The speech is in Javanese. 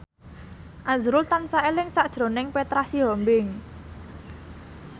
azrul tansah eling sakjroning Petra Sihombing